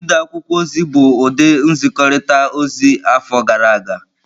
Ide akwụkwọ ozi bụ ụdị nzikọrịta ozi afọ gara aga.